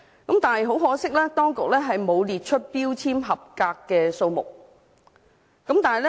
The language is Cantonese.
但是，很可惜，當局並沒有列出合格標籤的數目。